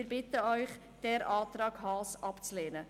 Wir bitten Sie, den Antrag Haas abzulehnen.